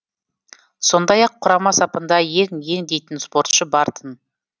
сондай ақ құрама сапында ең ең дейтін спортшы бар тын